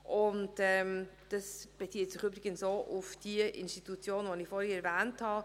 Dies bezieht sich übrigens auch auf jene Institutionen, die ich vorhin erwähnt habe.